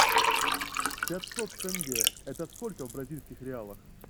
пятьсот тенге это сколько в бразильских реалах